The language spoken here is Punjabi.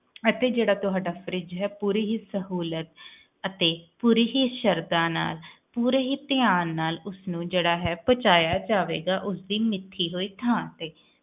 ਅਤੇ ਜਿਹੜਾ ਤੁਹਾਡਾ fridge ਹੈ ਪੂਰੇ ਹੀ ਸਹੂਲਤ ਤੇ ਪੂਰੀ ਹੀ ਸ਼੍ਰੱਧਾ ਨਾਲ ਪੂਰੇ ਹੀ ਧਿਆਨ ਨਾਲ ਉਸਨੂੰ ਪਹੁੰਚੇਅਯਾ ਜਾਏਗਾ ਉਸ ਦੀ ਮਿੱਠੀ ਹੋਈ ਥਾਂ ਤੇ